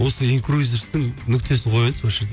осы инкрузерстің нүктесін қояйыншы осы жерде